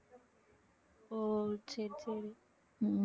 ஓ சரி சரி